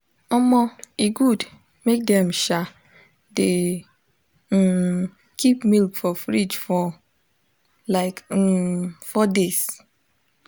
omo e good mk dem um de um keep milk for fridge for like um four days